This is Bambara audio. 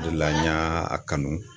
O de la n y'a kanu